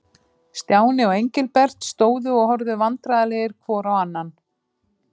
Stjáni og Engilbert stóðu og horfðu vandræðalegir hvor á annan.